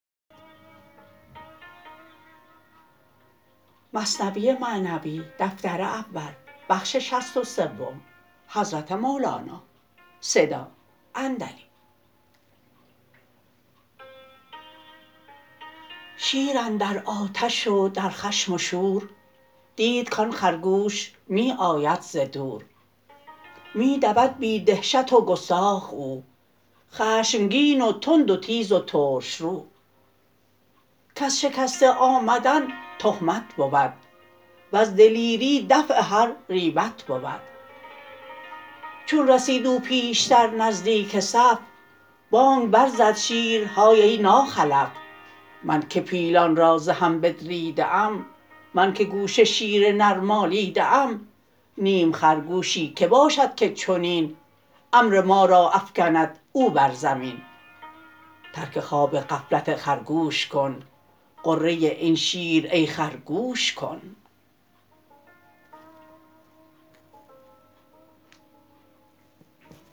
شیر اندر آتش و در خشم و شور دید کان خرگوش می آید ز دور می دود بی دهشت و گستاخ او خشمگین و تند و تیز و ترش رو کز شکسته آمدن تهمت بود وز دلیری دفع هر ریبت بود چون رسید او پیشتر نزدیک صف بانگ بر زد شیر های ای ناخلف من که پیلان را ز هم بدریده ام من که گوش شیر نر مالیده ام نیم خرگوشی که باشد که چنین امر ما را افکند او بر زمین ترک خواب غفلت خرگوش کن غره این شیر ای خر گوش کن